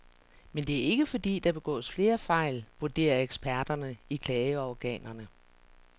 Men det er ikke fordi der begås flere fejl, vurderer eksperterne i klageorganerne.